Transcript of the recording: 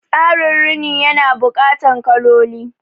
Tsarin Rini ya na buƙatan kaloli